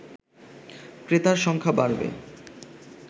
ক্রেতার সংখ্যা বাড়বে